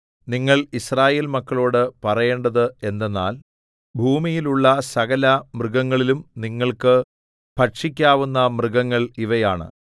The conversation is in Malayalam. നിങ്ങൾ യിസ്രായേൽ മക്കളോടു പറയേണ്ടത് എന്തെന്നാൽ ഭൂമിയിലുള്ള സകലമൃഗങ്ങളിലും നിങ്ങൾക്ക് ഭക്ഷിക്കാവുന്ന മൃഗങ്ങൾ ഇവയാണ്